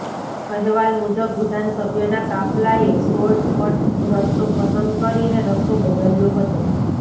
અહેવાલ મુજબ વિધાન સભ્યના કાફલાએ શોર્ટ કટ રસ્તો પંસદ કરીને રસ્તો બદલ્યો હતો